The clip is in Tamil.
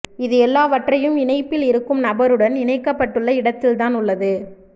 இது எல்லாவற்றையும் இணைப்பில் இருக்கும் நபருடன் இணைக்கப்பட்டுள்ள இடத்தில்தான் உள்ளது